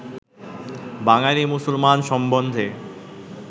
বাঙালী মুসলমান সম্বন্ধে